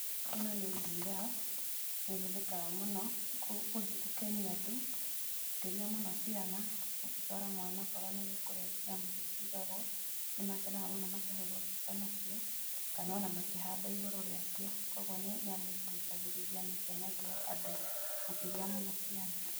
ĩno ni girrafe nĩ ĩhũthikaga mũno gũkenia andũ makĩria mũno ciana , ũngĩtwara mwana okorwo ni kũrĩa nyamũ icio cĩigagwo, nĩmakenaga mũno makĩhurwo mbica nacio kana ona makĩhamba igũrũ rĩa cio , kwa ũgũo nĩ nyamu ĩgucagĩrĩria na ĩkenagia andũ makĩria mũno ciana.